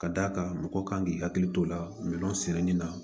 Ka d'a kan mɔgɔ kan k'i hakili t'o la minɛn sɛnɛni na